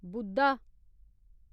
बुधा